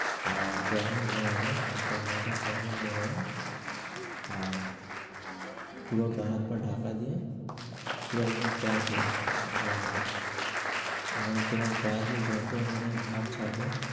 আর যখনই ঘুমাবে, একটা মোটা কম্বল নিয়ে নিবে। আর পুরো গাঁ-হাত-পা ঢাকা দিয়ে পুরো একদম করে ঘুমাবে। মানে তো গাঁয়ে যত মানে ঘাম ছাড়বে